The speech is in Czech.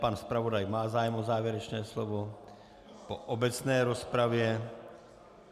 Pan zpravodaj má zájem o závěrečné slovo po obecné rozpravě.